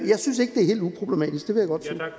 jeg synes ikke det er helt uproblematisk vil